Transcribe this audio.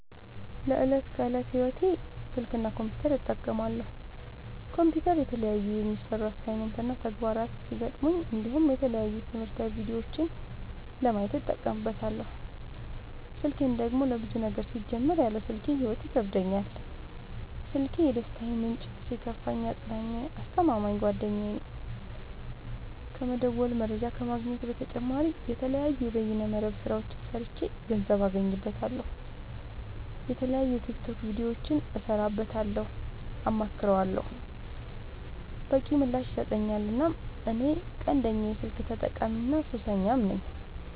ለዕት ከዕለት ህይወቴ ስልክ እና ኮምፒውተር እጠቀማለሁ። ኮምፒውተር የተለያዩ የሚሰሩ አሳይመንት እና ተግባራት ሲገጥሙኝ እንዲሁም የተለያዩ ትምህርታዊ ቪዲዮዎችን ለማየት እጠቀምበታለው። ስልኬን ደግሞ ለብዙ ነገር ሲጀመር ያለ ስልኬ ህይወት ይከብደኛል። ስልኪ የደስታዬ ምንጭ ሲከፋኝ አፅናኜ አስተማማኝ ጓደኛዬ ነው። ከመደወል መረጃ ከመግኘት በተጨማሪ የተለያዩ የበይነ መረብ ስራዎችን ሰርቼ ገንዘብ አገኝበታለሁ። የተለያዩ የቲክቶክ ቪዲዮዎችን እሰራበታለሁ አማክረዋለሁ። በቂ ምላሽ ይሰጠኛል እናም እኔ ቀንደኛ የስልክ ተጠቀሚና ሱሰኛም ነኝ።